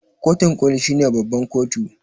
kotun koli shine babban kotu